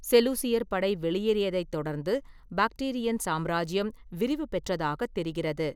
செலூசியர் படை வெளியேறியதைத் தொடர்ந்து, பாக்டிரியன் சாம்ராஜ்யம் விரிவுபெற்றதாகத் தெரிகிறது.